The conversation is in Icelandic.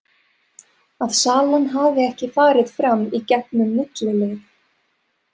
Að salan hafi ekki farið fram í gegn um millilið.